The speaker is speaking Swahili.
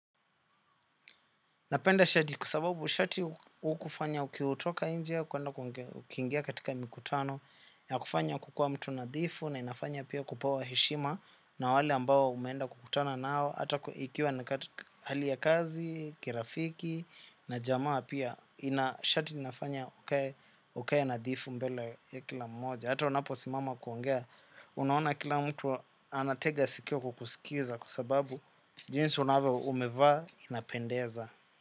Napenda shati kwa sababu shati hukufanya ukiutoka inje kuenda ku ukiingia katika mikutano yakufanya kukua mtu nadhifu na inafanya pia kupewa heshima na wale ambao umeenda kukutana nao hata ikiwa hali ya kazi, kirafiki na jamaa pia ina shati linafanya ukae nadhifu mbele ya kila mmoja. Hata unaposimama kuongea unaona kila mtu anatega sikio kukusikiza kwa sababu jinsi unavyo umevaa inapendeza.